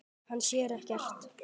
Hann sér ekkert.